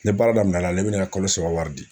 Ni baara daminɛna ne bɛna n ka kalo saba wari di